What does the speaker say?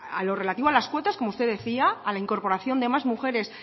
a lo relativo a las cuotas como usted decía a la incorporación de más mujeres